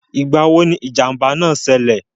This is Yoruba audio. Ìgbà wo ni ìjànbá náà sẹlẹ̀?